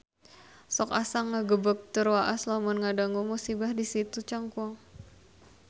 Sok asa ngagebeg tur waas lamun ngadangu musibah di Situ Cangkuang